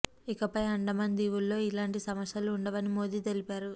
ఇకపై అండమాన్ దీవుల్లో లో ఇలాంటి సమస్యలు ఉండవని మోదీ తెలిపారు